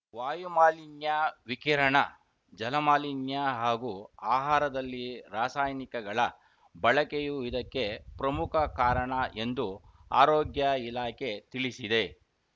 ವಾಯುಮಾಲಿನ್ಯ ವಿಕಿರಣ ಜಲಮಾಲಿನ್ಯಹಾಗೂ ಆಹಾರದಲ್ಲಿ ರಾಸಾಯನಿಕಗಳ ಬಳಕೆಯೂ ಇದಕ್ಕೆ ಪ್ರಮುಖ ಕಾರಣ ಎಂದು ಆರೋಗ್ಯ ಇಲಾಖೆ ತಿಳಿಸಿದೆ